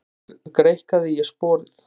Svo greikkaði ég sporið.